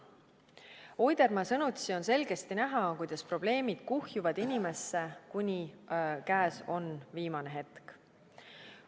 Oidermaa sõnutsi on selgesti näha, kuidas probleemid kuhjuvad inimesse, kuni käes on viimane hetk.